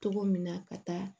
Cogo min na ka taa